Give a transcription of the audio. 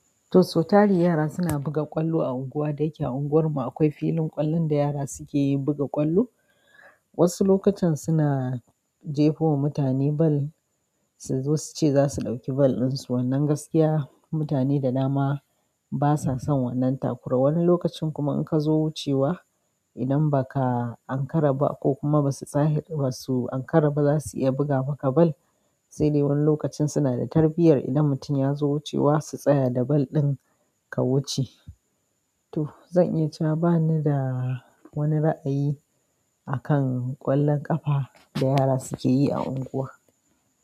Toh, sautari yara suna buga ƙwallo a unguwa da yake a unguwarmu akwai filin ƙwallon da yara suke buga ƙwallo. Wasu lokacin suna jefo wa mutane bal, su zo suce za su ɗauki bal dinsu. Wannan gaskiya mutane da dama basa son wannan takura. Wani lokacin kuma in ka zo wucewa idan ba ka an karaba ko kuma ba su zahe ba su an karaba za su iya buga maka bal. Sai dai wani lokacin suna da tarbiyyar idan mutum ya zo wucewa su tsaya da bal ɗin ka wuce. Toh, zan iya cawa bani da wani ra'ayi akan ƙwallon ƙafa da yara suke yi a unguwa.